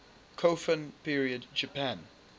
kofun period japan